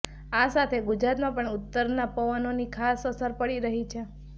આ સાથે ગુજરાતમાં પણ ઉત્તરના પવનોની ખાસ અસર પડી રહી છે